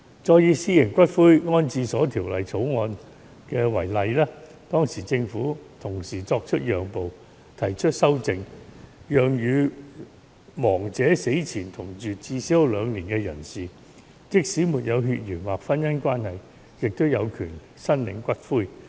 再以《私營骨灰安置所條例草案》為例，當時政府作出了讓步，提出修訂，讓與亡者死前同住至少兩年的人士，即使沒有血緣或婚姻關係，也有權申領骨灰。